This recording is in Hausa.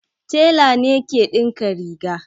Tela ne ke dinka riga